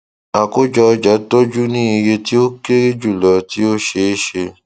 akojo ọja tọju ní iye tí o kere julọ tí ó ṣeeṣe